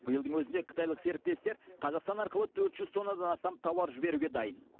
биылдың өзінде қытайлық серіктестер қазақстан арқылы төрт жүз тоннадан астам тауар жіберуге дайын